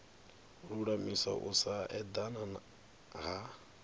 lulamisa u sa edana ha